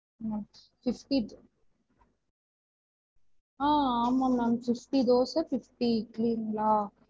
Fifty ah ஆமா ma'am fifty dosa fifty இட்லிங்களா?